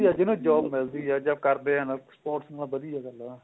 ਜੇ ਨਾ job ਮਿਲਦੀ ਏ ਨਾ ਜਾ ਕਰਦੇ ਹਨ sports ਵਧੀਆ ਗੱਲ ਆ